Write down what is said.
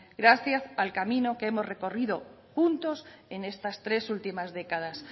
gracias al camino que hemos recorrido juntos en estas tres últimas décadas